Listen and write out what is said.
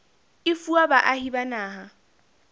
e fuwa baahi ba naha